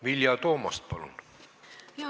Vilja Toomast, palun!